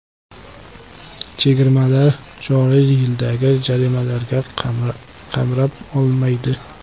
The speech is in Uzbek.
Chegirmalar joriy yildagi jarimalarga qamrab olmaydi.